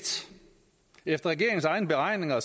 efter regeringens egne beregninger